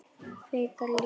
Kvikar líkur.